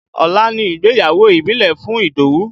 Ọ̀la ni ìgbéyàwó ìbílẹ̀ fún Idowu